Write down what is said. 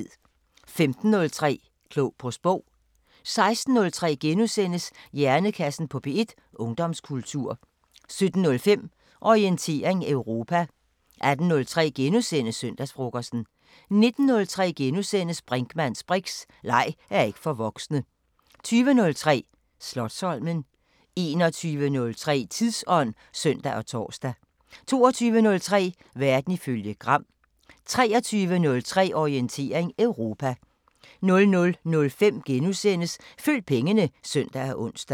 15:03: Klog på Sprog 16:03: Hjernekassen på P1: Ungdomskultur * 17:05: Orientering Europa 18:03: Søndagsfrokosten * 19:03: Brinkmanns briks: Leg er ikke for voksne * 20:03: Slotsholmen 21:03: Tidsånd (søn og tor) 22:03: Verden ifølge Gram 23:03: Orientering Europa 00:05: Følg pengene *(søn og ons)